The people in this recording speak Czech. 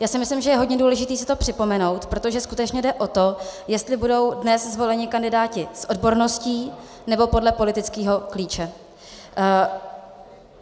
Já si myslím, že je hodně důležité si to připomenout, protože skutečně jde o to, jestli budou dnes zvoleni kandidáti s odborností, nebo podle politického klíče.